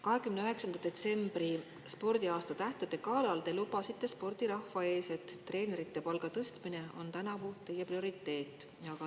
29. detsembril spordiaasta tähtede galal te lubasite spordirahva ees, et treenerite palga tõstmine on tänavu teie prioriteet.